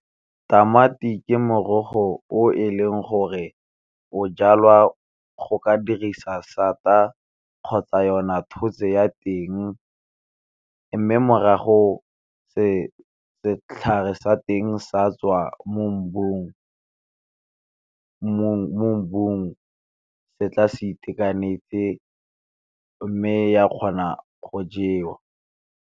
Tamati ke morogo o e leng gore o jalwa go ka dirisa sata a kgotsa yona tshotse ya teng, mme morago setlhare sa teng sa tswa mo mmung se tla se itekanetse mme ya kgona go jewa.